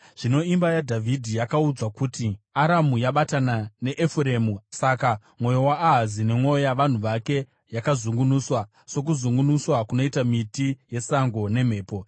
Zvino imba yaDhavhidhi yakaudzwa kuti, “Aramu yabatana neEfuremu;” saka mwoyo waAhazi nemwoyo yavanhu vake yakazungunuswa, sokuzungunuswa kunoitwa miti yesango nemhepo.